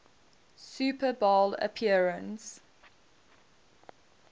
super bowl appearance